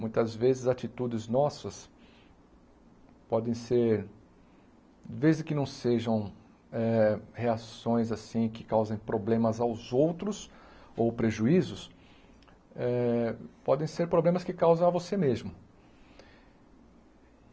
Muitas vezes atitudes nossas podem ser, desde que não sejam eh reações assim que causem problemas aos outros ou prejuízos eh, podem ser problemas que causam a você mesmo.